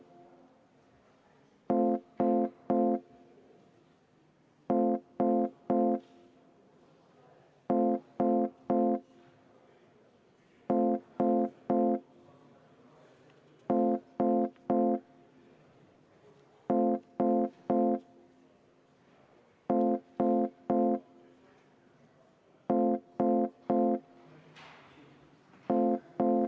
Ma kuulutan välja juhataja vaheaja, 20 minutit, ja me juhatusega arutame seda.